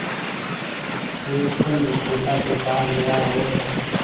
एक फल विक्रेता के पास गया और